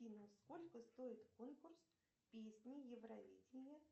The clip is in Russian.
афина сколько стоит конкурс песни евровидение